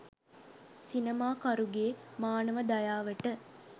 සිනමාකරුගේ මානව දයාවට